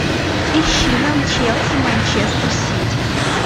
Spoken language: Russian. ищи нам челси манчестер сити